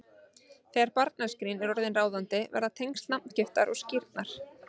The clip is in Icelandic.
Þegar barnaskírn er orðin ráðandi verða tengsl nafngiftar og skírnar